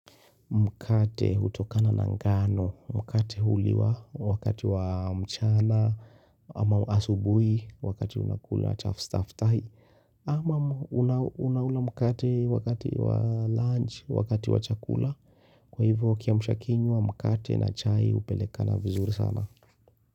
Mkate hutokana na ngano, mkate huliwa, wakati wa mchana ama asubuhi wakati unakula chafstaftai. Ama unaula mkate wakati wa lunch wakati wa chakula, kwa hivyo kiamsha kinywa, mkate, na chai hupelekana vizuri sana.